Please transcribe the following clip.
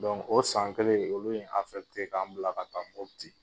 Donc o san kelen olu ye k'an bila ka taa Muti.